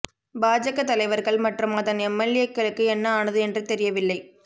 பாஜக தலைவா்கள் மற்றும் அதன் எம்எல்ஏக்களுக்கு என்ன ஆனது என்று தெரியவில்லை